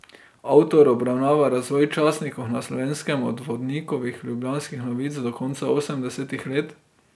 Avtor obravnava razvoj časnikov na Slovenskem od Vodnikovih Ljubljanskih novic do konca osemdesetih let.